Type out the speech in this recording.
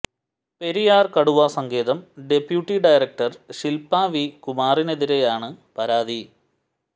പെരിയാർ കടുവാ സങ്കേതം deputy director Shilpa V കുമാറിനെതിരെയാണ് പരാതി